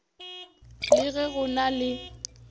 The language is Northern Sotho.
le ge go na le